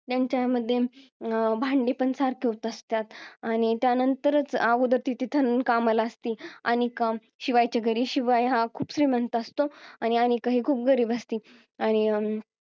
त्यांच्यामध्ये भांडी पण सारखे होत असतात आणि त्यानंतर च अगोदर ती तिथे कामाला असती अनिका शिवायच्या घरी शिवाय हा खूप श्रीमंत असतो आणि अनिका ही खूप गरीब असती आणि अं